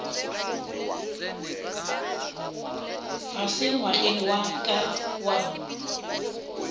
fase ngwageng wa ka wa